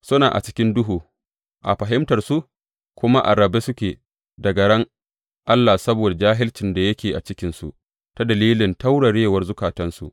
Suna a cikin duhu a fahimtarsu, kuma a rabe suke daga ran Allah saboda jahilcin da yake cikinsu ta dalilin taurarewar zukatansu.